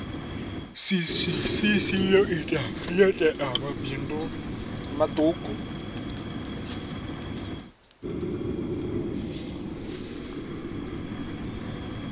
cc yo tea mabindu maṱuku